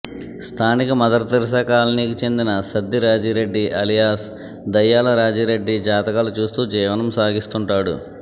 స్థానిక మదర్థెరిస్సా కాలనీకి చెందిన సద్ది రాజీరెడ్డి ఆలియాస్ దయ్యాలా రాజీరెడ్డి జాతకాలు చూస్తూ జీవనం సాగిస్తుంటాడు